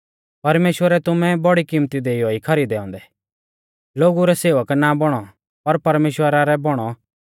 परमेश्‍वरै तुमै बौड़ी किमत्ती देइयौ ई खरीदै औन्दै लोगु रै सेवक ना बौणौ पर परमेश्‍वरा रै बौणौ